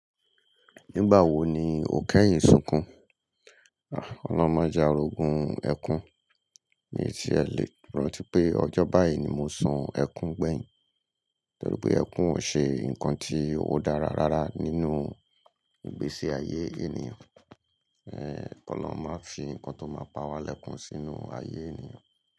Nígbà wo ni ò kẹ́yìn sunkún? Ọlọ́run ma je arogun ẹkún. Mi tie lè rántí pé ọjọ́ báyìí ni mo sun ẹkún gbẹ̀yìn. Torí pé ẹkún ò ṣe nǹkan tí ó dára rárá nínú ìgbésí ayé ènìyàn. Ki olorun máa ń fi nǹkan tó máa pa wá lẹ́kun sínú ayé ènìyàn.